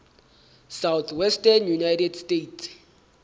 southwestern united states